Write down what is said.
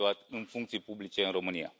în funcții publice în România.